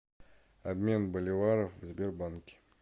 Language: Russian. обмен боливаров в сбербанке